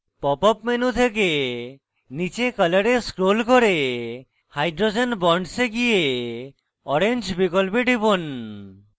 pop up menu থেকে নীচে color এ scroll করে hydrogen bonds এ গিয়ে orange বিকল্পে টিপুন